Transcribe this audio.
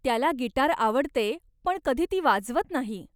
त्याला गिटार आवडते पण कधी ती वाजवत नाही.